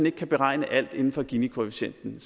ikke beregne alt inden for ginikoefficienten